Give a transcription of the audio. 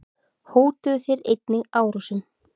Hótuðu þeir einnig árásum.